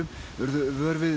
urðu vör við